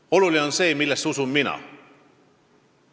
Aga oluline on see, millesse usun mina.